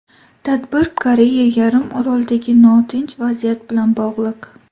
Tadbir Koreya yarim orolidagi notinch vaziyat bilan bog‘liq.